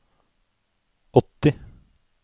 åtti